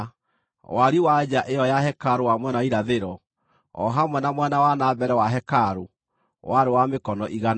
Wariĩ wa nja ĩyo ya hekarũ wa mwena wa irathĩro, o hamwe na mwena wa na mbere wa hekarũ, warĩ wa mĩkono igana.